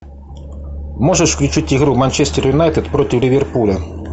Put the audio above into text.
можешь включить игру манчестер юнайтед против ливерпуля